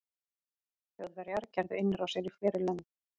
þjóðverjar gerðu innrásir í fleiri lönd